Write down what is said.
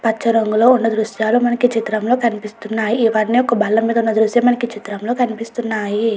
పచ్చ రంగులో ఉన్న దృశ్యాలు మనకు ఈ చిత్రంలో కనిపిస్తున్నాయి. ఇవన్ని ఒక బల్లమీద ఉన్న దృశ్యం మనకు ఈ చిత్రంలో కనిపిస్తున్నాయి.